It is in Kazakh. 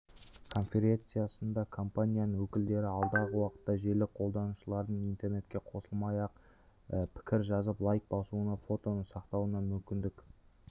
конференциясында компаниясының өкілдері алдағы уақытта желі қолданушыларының интернетке қосылмай-ақ пікір жазып лайк басуына фотоны сақтауына мүмкіндік